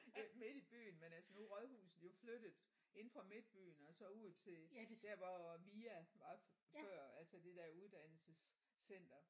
Øh midt i byen men altså nu er rådhuset jo flyttet inde fra midtbyen og så ud til der hvor VIA var før altså det der uddannelsescenter